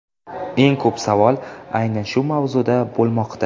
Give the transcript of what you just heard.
Eng ko‘p savol aynan shu mavzuda bo‘lmoqda.